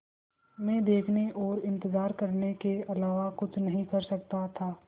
मैं देखने और इन्तज़ार करने के अलावा कुछ नहीं कर सकता था